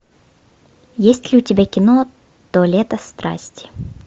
есть ли у тебя кино то лето страсти